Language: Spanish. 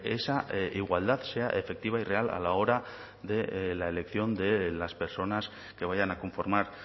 esa igualdad sea efectiva y real a la hora de la elección de las personas que vayan a conformar